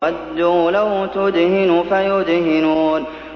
وَدُّوا لَوْ تُدْهِنُ فَيُدْهِنُونَ